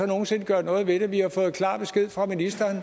nogen sinde gøre noget ved det vi har fået klar besked fra ministeren